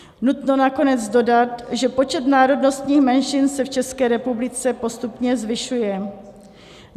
Nutno nakonec dodat, že počet národnostních menšin se v České republice postupně zvyšuje.